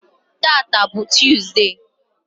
tata bụ tọzụdee.